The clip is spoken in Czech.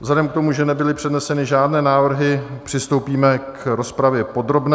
Vzhledem k tomu, že nebyly předneseny žádné návrhy, přistoupíme k rozpravě podrobné.